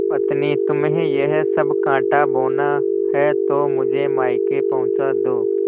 पत्नीतुम्हें यह सब कॉँटा बोना है तो मुझे मायके पहुँचा दो